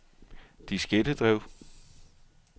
diskettedrev